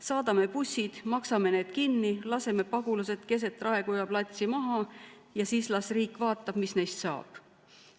Saadame bussid, maksame need kinni, laseme pagulased keset Raekoja platsi maha ja siis las riik vaatab, mis neist saab.